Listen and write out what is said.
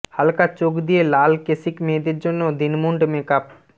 হালকা চোখ দিয়ে লাল কেশিক মেয়েদের জন্য দিনমুন্ড মেক আপ